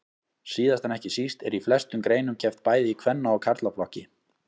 Síðast en ekki síst er í flestum greinum keppt bæði í kvenna og karlaflokki.